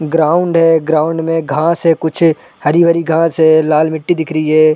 Ground है ground में घास है कुछ हरी-हरी घास है लाल मिट्टी दिख रही हैं ।